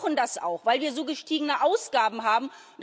Und wir brauchen das auch, weil wir so gestiegene Ausgaben haben.